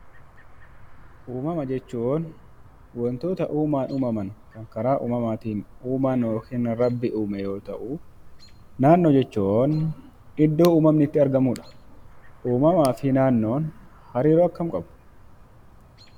Uummama jechuun wantoota uumaan uummaman kan karaa uummamaan uumaan uume yoo ta'u naannoo jechuun iddoo uummanni itti argamu jechuudha . Uummama fi naannoon hariiroo akkamii qabu?